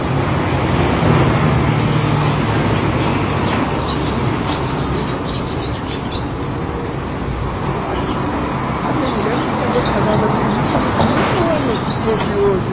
Agora, para para os níveis de hoje, pelo que eu vejo as pessoas, a minha mulher não ficaria casada comigo nem um ano se fosse hoje.